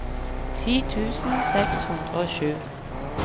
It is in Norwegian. ti tusen seks hundre og sju